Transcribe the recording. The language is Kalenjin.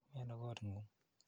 Miano kot ng'ung'?